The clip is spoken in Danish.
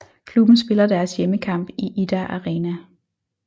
Klubben spiller deres hjemmekamp i Idda Arena